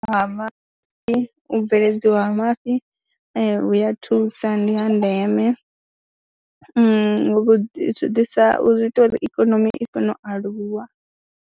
Mafhi u bveledziwa ha mafhi vhu a thusa, ndi ha ndeme vhu ḓisa, zwi ita uri ikonomi i kone u aluwa.